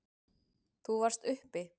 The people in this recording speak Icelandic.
Þú varst uppi.